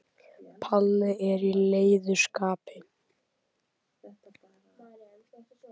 Palli er í leiðu skapi.